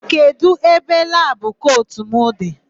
Kedụ ebe labụ kotu m dị?